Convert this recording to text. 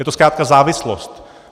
Je to zkrátka závislost.